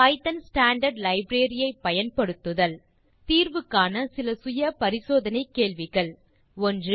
Python standard library ஐ பயன்படுத்துதல் தீர்வு காண செல்ஃப் அசெஸ்மென்ட் கேள்விகள் 1